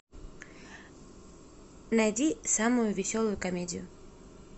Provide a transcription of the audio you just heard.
найди самую веселую комедию